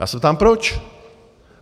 Já se ptám proč.